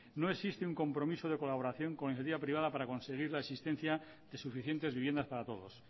no existe un compromiso de colaboración con iniciativa privada para conseguir la existencia de suficientes viviendas para todos